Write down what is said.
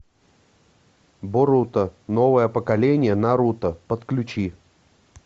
боруто новое поколение наруто подключи